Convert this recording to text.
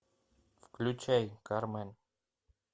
включай кармен